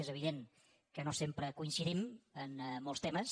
és evident que no sempre coincidim en molts temes